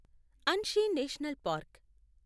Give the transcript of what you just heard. Anshi national park